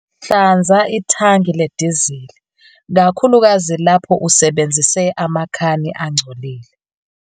Hlanza ithangi ledizili, kakhulukazi lapho usebenzise amakhani angcolile.